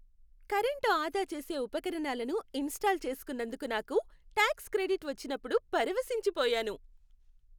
Current ఆదా చేసే ఉపకరణాలను ఇన్స్టాల్ చేసుకున్నందుకు నాకు ట్యాక్స్ క్రెడిట్ వచ్చినప్పుడు పరవశించిపోయాను.